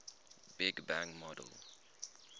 big bang model